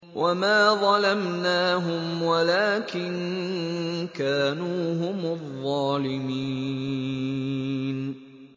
وَمَا ظَلَمْنَاهُمْ وَلَٰكِن كَانُوا هُمُ الظَّالِمِينَ